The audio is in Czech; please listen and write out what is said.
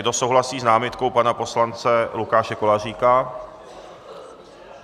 Kdo souhlasí s námitkou pana poslance Lukáše Koláříka?